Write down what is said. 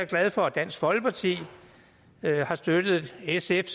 glad for at dansk folkeparti har støttet sf